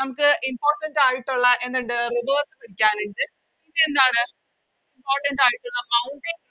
നമുക്ക് Importants ആയിട്ടുള്ള എന്തിണ്ട് Rivers പഠിക്കാനിണ്ട് പിന്നെ എന്താണ് Impotants ആയിട്ടുള്ള Mountains